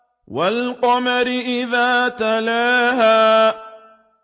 وَالْقَمَرِ إِذَا تَلَاهَا